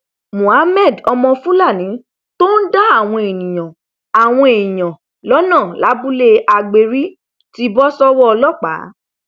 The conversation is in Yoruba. muhammed ọmọ fúlàní tó ń dá àwọn èèyàn àwọn èèyàn lọnà lábúlé agbérí ti bọ sọwọ ọlọpàá